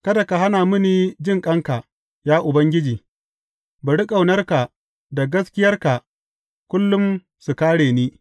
Kada ka hana mini jinƙanka, ya Ubangiji; bari ƙaunarka da gaskiyarka kullum su kāre ni.